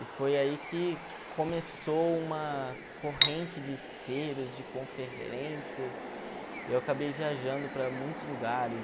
E foi aí que começou uma corrente de feiras, de conferências, e eu acabei viajando para muitos lugares.